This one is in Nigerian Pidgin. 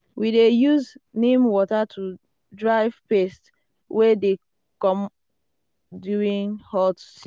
we dey use neem water to drive pests wey dey come during hot season.